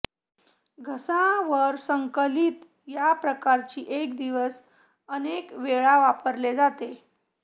घसा वर संकलित या प्रकारची एक दिवस अनेक वेळा वापरले जाते